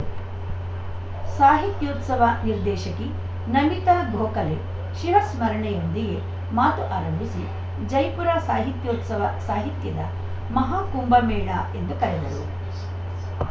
ಸಾಹಿತ್ಯೋತ್ಸವ ನಿರ್ದೇಶಕಿ ನಮಿತಾ ಗೋಖಲೆ ಶಿವಸ್ಮರಣೆಯೊಂದಿಗೆ ಮಾತು ಆರಂಭಿಸಿ ಜೈಪುರ ಸಾಹಿತ್ಯೋತ್ಸವ ಸಾಹಿತ್ಯದ ಮಹಾಕುಂಭ ಮೇಳ ಎಂದು ಕರೆದರು